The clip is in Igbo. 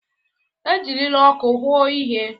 Ejirila ọkụ hụụo ihe.